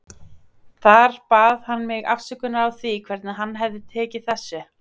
Þar bað hann mig afsökunar á því hvernig hann hefði tekið þessu.